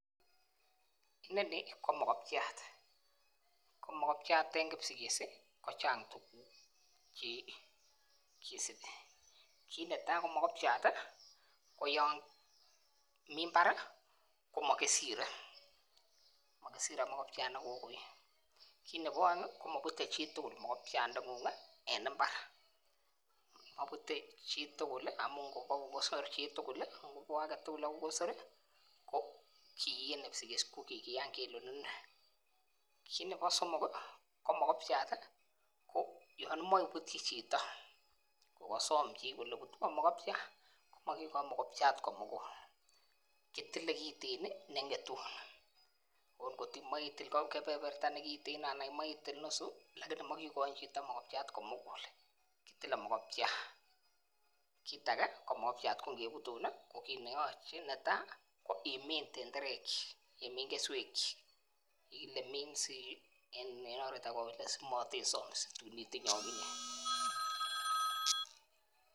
Inoni ko mokopchat ko mokopchat en kipsigis kochang tukuk chekisibi kit netai ko mokopchat tii koyon mii imbarii komokisire mokirire mokopchat nekokoit, kit nebo oengi ko moputet chitukul mokopchangung en imbary, moputet chitukul lii amun ngwo kosor chitukul lii ngwo agetutuk akobo kosor ko kii en kipsigis ko kikiyan Kele konune. Ko nebo somok kii ko mokopchat tii yon imoche in iputyi chito kokosom chii kole putwon mokopchat komokikoin mokopchat komugul kitile kitten nii nengetun ot kotimoi itil kepeperta nekiten imoi itil nusu lakini mokikoin chito mokopchat komugul kitile mokopchat. Kit age ko mokopchat ngeputu nii kokineyoche netai ko imin tenderek chik imin keswek chik kikile min en oret age ko kokile somoteisomse tun itinye okinyee.